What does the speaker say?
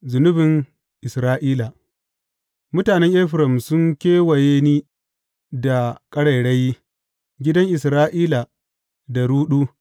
Zunubin Isra’ila Mutanen Efraim sun kewaye ni da ƙarairayi, gidan Isra’ila da ruɗu.